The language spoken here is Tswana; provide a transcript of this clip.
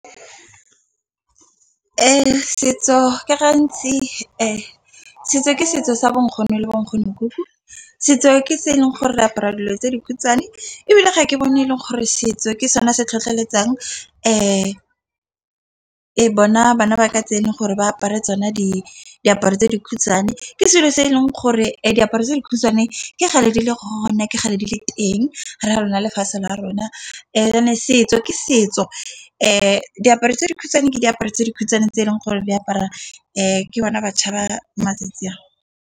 Setso ke gantsi setso ke setso sa bonkgono le bo nkgonokuku, setso ke se e leng gore re apara dilo tse dikhutshwane ebile ga ke bone e leng gore setso ke sone se tlhotlheletsang bona bana ba katjeno gore ba apare tsona diaparo tse di khutshwane. Ke selo se e leng gore diaparo tse dikhutshwane, ke kgale di le gona, ke kgale di le teng ha rona lefatshe la rona. And-ene setso ke setso, diaparo tse dikhutshwane ke diaparo tse dikhutshwane tse eleng gore di apara ke bona baša ba matsatsi a.